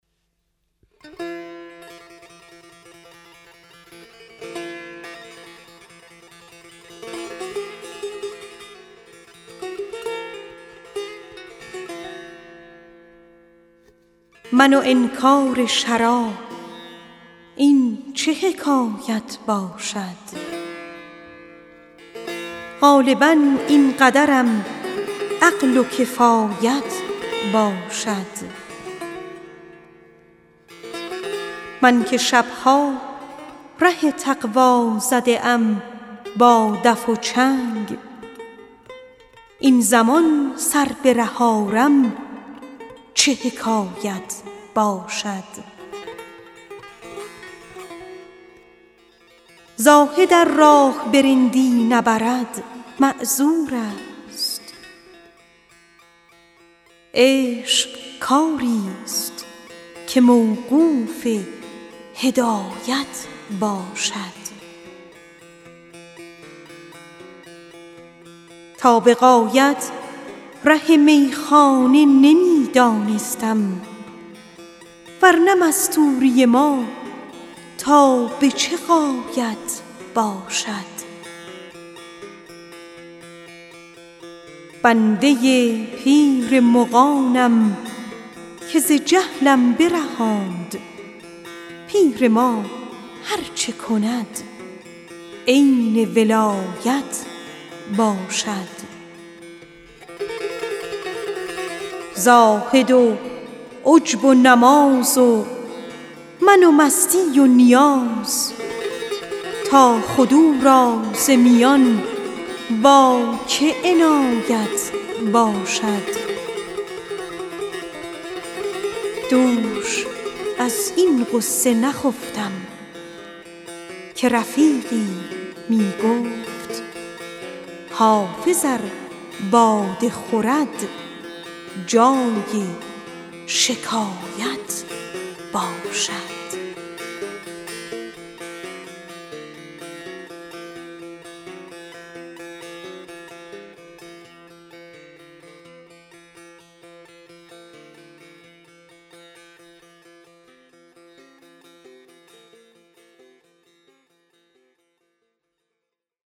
من و انکار شراب این چه حکایت باشد غالبا این قدرم عقل و کفایت باشد تا به غایت ره میخانه نمی دانستم ور نه مستوری ما تا به چه غایت باشد زاهد و عجب و نماز و من و مستی و نیاز تا تو را خود ز میان با که عنایت باشد زاهد ار راه به رندی نبرد معذور است عشق کاری ست که موقوف هدایت باشد من که شب ها ره تقوا زده ام با دف و چنگ این زمان سر به ره آرم چه حکایت باشد بنده پیر مغانم که ز جهلم برهاند پیر ما هر چه کند عین عنایت باشد دوش از این غصه نخفتم که رفیقی می گفت حافظ ار مست بود جای شکایت باشد